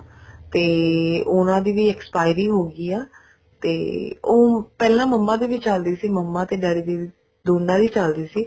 ਤੇ ਉਹਨਾ ਦੀ ਵੀ expiry ਹੋਗੀ ਆ ਉਹ ਤੇ ਪਹਿਲਾਂ ਮੰਮਾ ਦੀ ਵੀ ਚੱਲਦੀ ਸੀ ਮੰਮੀ daddy ਦੀ ਦੋਨਾ ਦੀ ਚੱਲਦੀ ਸੀ